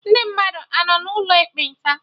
Ndị mmadụ anọ n'ụlọ ekpenta?